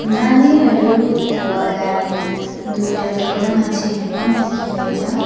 नानीहरूको अगाडि दुईटा ठूलो मान्छेहेरू पनि देखिँदै छ।